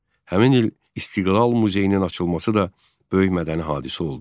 Həmin il İstiqlal muzeyinin açılması da böyük mədəni hadisə oldu.